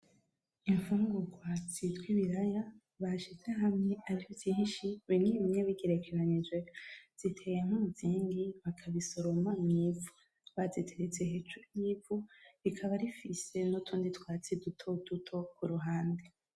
infungurwa zitwa ibiraya bashize hamwe ari vyinshi bimwe bimwe bigerekeranyije ziteye nk' umuziringi bakabisoroma mwivu bitereste hejuru y' ivu bikaba bifise nutundi twatsi dutoduto kuruhande.